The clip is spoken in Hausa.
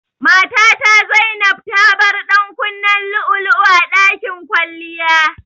Matata Zainab tabar ɗankunnen lu'ulu'u a ɗakin kwalliya.